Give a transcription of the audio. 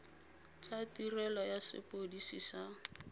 tsa tirelo ya sepodisi sa